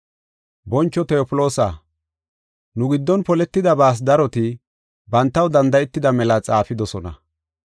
Boncho Tewofloosa, nu giddon poletidabas daroti, bantaw danda7etida mela xaafidosona.